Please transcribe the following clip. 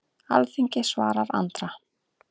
Alþingi svarar Andra